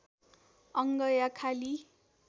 अङ्ग या खाली